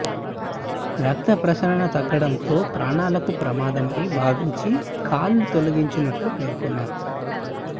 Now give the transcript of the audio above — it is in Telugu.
రక్త ప్రసరణ తగ్గడంతో ప్రాణాలకు ప్రమాదమని భావించి కాలు తొలగించినట్లు పేర్కొన్నారు